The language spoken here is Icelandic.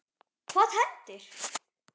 Hvað hendir?